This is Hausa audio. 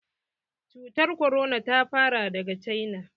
Cutar korona ta fara daga cina.